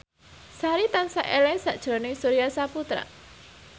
Sari tansah eling sakjroning Surya Saputra